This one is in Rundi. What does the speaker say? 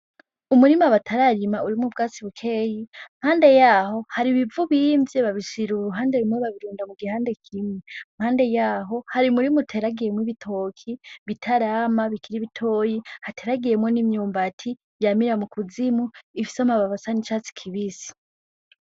Umurima batararima urimwo ubwatsi bukeyi iruhande yaho hari ibivu bimvye babishira kuruhande rumwe babirunda ku gihande kimwe iruhande yaho hari umurima uteragiyemwo ibitoki bitarama bikiri bitoyi hateragiyemwo n'imyumbati yamira mu kuzimu ifise amababi asa n'icatsi kibisi.